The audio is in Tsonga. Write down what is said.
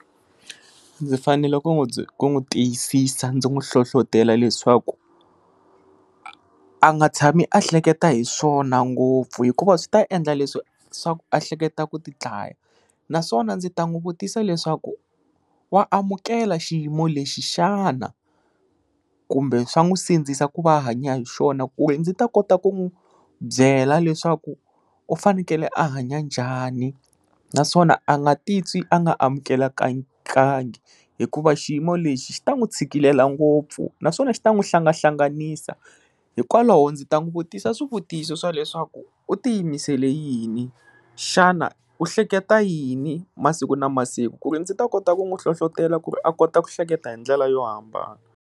Ndzi fanele ku n'wi ku n'wi tiyisisa ndzi n'wi hlohlotela leswaku a nga tshami a hleketa hi swona ngopfu hikuva swi ta endla leswi swa ku a hleketa ku ti dlaya naswona ndzi ta n'wi vutisa leswaku wa amukela xiyimo lexi xana kumbe swa n'wi sindzisa ku va a hanya hi xona ku ri ndzi ta kota ku n'wi byela leswaku u fanekele a hanya njhani naswona a nga ti twi a nga amukelekakangi hikuva xiyimo lexi xi ta n'wi tshikilela ngopfu naswona xi ta n'wi hlangahlanganisa hikwalaho ndzi ta n'wi vutisa swivutiso swa leswaku u ti yimisele yini xana u hleketa yini masiku na masiku ku ri ndzi ta kota ku n'wi hlohlotelo ku ri a kota ku hleketa hi ndlela yo hambana.